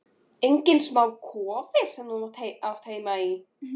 Enginn smá kofi sem þú átti heima í!